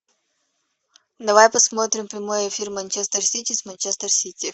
давай посмотрим прямой эфир манчестер сити с манчестер сити